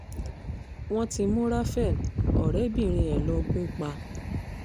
wọ́n ti mú raphael ọ̀rẹ́bìnrin ẹ̀ lọ gùn pa